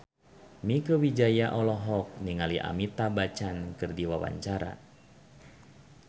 Mieke Wijaya olohok ningali Amitabh Bachchan keur diwawancara